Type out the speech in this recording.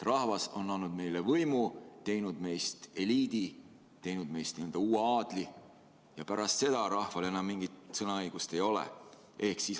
Rahvas on andnud meile võimu, teinud meist eliidi, teinud meist n‑ö uue aadli, ja rohkem rahval enam mingit sõnaõigust ei ole.